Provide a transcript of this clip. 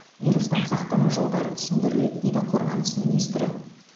вирустан сақтану жолдары түсіндіріледі дейді қорғаныс министрі